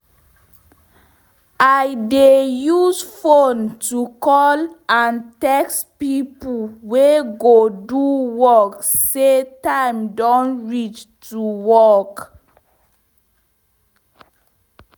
i dey use fone to call and txt pipo wey go do work say time don reach to work